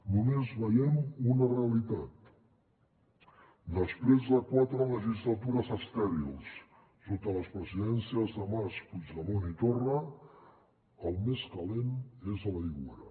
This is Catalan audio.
només veiem una realitat després de quatre legislatures estèrils sota les presidències de mas puigdemont i torra el més calent és a l’aigüera